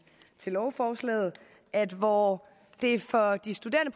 til lovforslaget at hvor det for de studerende